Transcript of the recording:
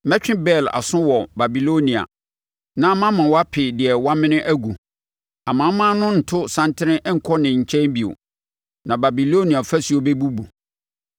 Mɛtwe Bel aso wɔ Babilonia na mama wape deɛ wamene agu. Amanaman no nnto santene nkɔ ne nkyɛn bio. Na Babilonia ɔfasuo bɛbubu.